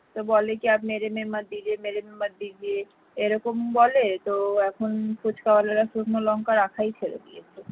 তো বলে কি आप मेरे मत दीजिए आप मेरे मत दीजिए এরকম বলে তো এখন ফুচকা ওয়ালারা শুকনো লঙ্কা রাখাই ছেড়ে দিয়েছে